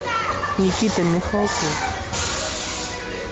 никита михалков